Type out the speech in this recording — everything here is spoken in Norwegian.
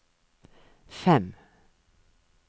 fem